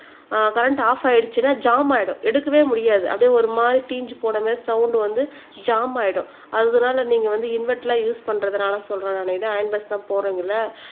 ஆஹ் current off ஆயிடுச்சுன்னா jam ஆயிடும் எடுக்கவே முடியாது அப்படியே ஒரு மாதிரி தீஞ்சு போன மாறி சவுண்ட் வந்து ஜாம் ஆயிடும் அதனால நீங்க வந்து இன்வெர்டர் எல்லாம் யூஸ் பண்றதுனால சொல்றேன் நானு இதை அயன் போக்ஸ் தான் போடுறீங்கல்ல